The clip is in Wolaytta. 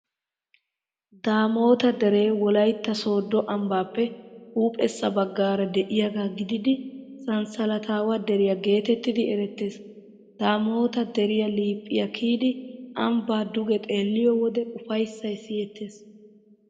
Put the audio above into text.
Daamota deree Wolaytta Sooddo ambbaappe huuphessa baggaara de'iyaaga gididi sanssalataawa deriyaa geetettidi erettees. Daamota de'iyaa liiphiyaa kiyidi ambbaa duge xeelliyoo wode ufayssay siyettees.